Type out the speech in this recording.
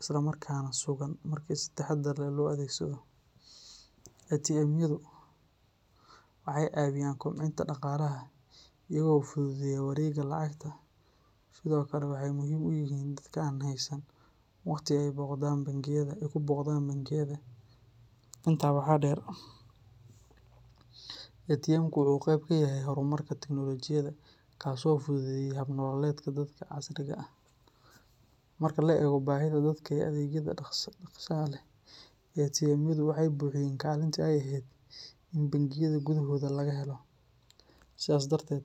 islamarkaana sugan marka si taxadar leh loo adeegsado. ATM-yadu waxay caawiyaan kobcinta dhaqaalaha iyaga oo fududeeya wareegga lacagta, sidoo kalena waxay muhiim u yihiin dadka aan haysan waqti ay ku booqdaan bangiyada. Intaa waxaa dheer, ATM-ku wuxuu qayb ka yahay horumarka tiknoolajiyadda kaas oo fududeeyey hab nololeedka dadka casriga ah. Marka la eego baahida dadka ee adeegyada dhaqsaha leh, ATM-yadu waxay buuxiyeen kaalintii ay ahayd in bangiyada gudahooda laga helo. Sidaas darteed.